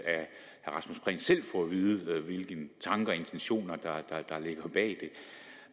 vide af hvilke tanker og intentioner